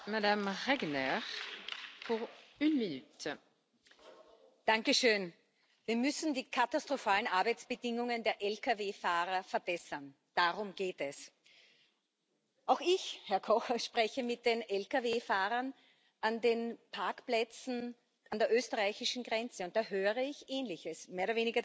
Frau Präsidentin! Wir müssen die katastrophalen Arbeitsbedingungen der Lkw Fahrer verbessern, darum geht es. Auch ich, Herr Koch, spreche mit den Lkw Fahrern an den Parkplätzen an der österreichischen Grenze, und da höre ich Ähnliches, mehr oder weniger das Gleiche